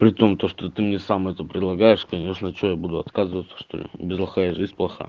при том то что ты мне сам это предлагаешь конечно что я буду отказываться что ли без лоха и жизнь плоха